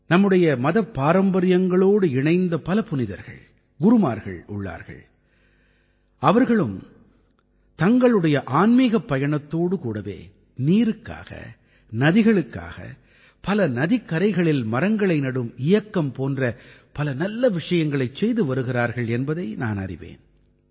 நம்முடைய மதப் பாரம்பரியங்களோடு இணைந்த பல புனிதர்கள் குருமார்கள் உள்ளார்கள் அவர்களும் தங்களுடைய ஆன்மீகப் பயணத்தோடு கூடவே நீருக்காக நதிகளுக்காக பல நதிக்கரைகளில் மரங்களை நடும் இயக்கம் போன்ற பல நல்ல விஷயங்களைச் செய்து வருகிறார்கள் என்பதை நான் அறிவேன்